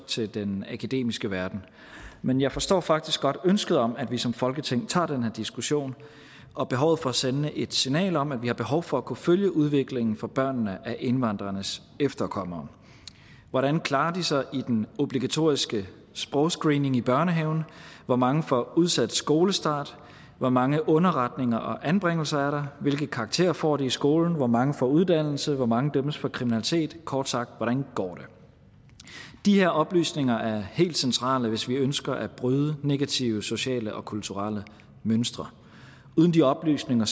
til den akademiske verden men jeg forstår faktisk godt ønsket om at vi som folketing tager den her diskussion og behovet for at sende et signal om at vi har behov for at kunne følge udviklingen for børnene af indvandrernes efterkommere hvordan klarer de sig i den obligatoriske sprogscreening i børnehaven hvor mange får udsat skolestarten hvor mange underretninger og anbringelser er der hvilke karakterer får de i skolen hvor mange får en uddannelse hvor mange dømmes for kriminalitet kort sagt hvordan går det de her oplysninger er helt centrale hvis vi ønsker at bryde negative sociale og kulturelle mønstre uden de oplysninger